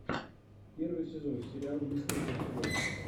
первый сезон сериал мистер мерседес